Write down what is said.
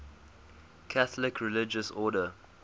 catholic religious order